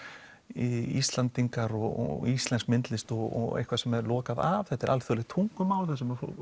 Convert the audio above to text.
Íslendingar og íslensk myndlist og eitthvað sem er lokað af þetta er alþjóðlegt tungumál þar sem